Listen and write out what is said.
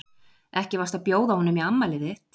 Ekki varstu að bjóða honum í afmælið þitt?